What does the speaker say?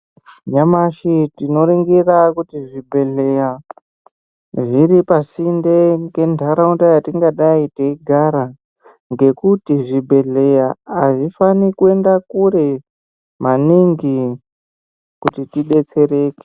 Nyamashi tinoringira kuti zvibhedhleya zviri pasinda ngenharaunda yatingadai teigara. Ngekuti zvibhedhleya hazvifani kuenda kure maningi kuti tibetsereke.